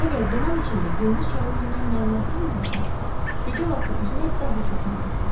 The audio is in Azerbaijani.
Əgər duman içində gündüz çağı üzmək mənasız idisə, gecə vaxtı üzmək daha çox mənasızdır.